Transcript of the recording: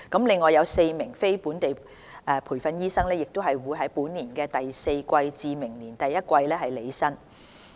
另外4名非本地培訓醫生亦將於本年第四季至明年第一季履新。